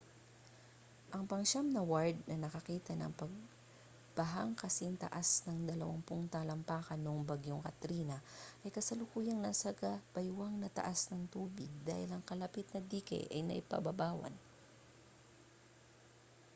ang pangsiyam na ward na nakakita ng pagbahang kasingtaas ng 20 talampakan noong bagyong katrina ay kasalukuyang nasa gabaywang na taas ng tubig dahil ang kalapit na dike ay napaibabawan